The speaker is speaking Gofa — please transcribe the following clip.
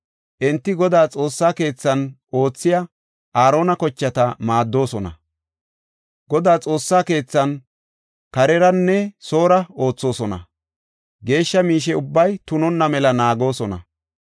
Enti Godaa Xoossa keethan oothiya Aarona kochata maaddoosona. Godaa Xoossa keethan kareranne soora oothosona; geeshsha miishe ubbaa tunonna mela naagoosona.